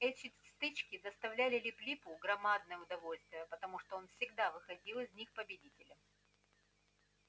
эти стычки доставляли лип липу громадное удовольствие потому что он всегда выходил из них победителем